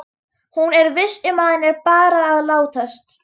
Hún er viss um að hann er bara að látast.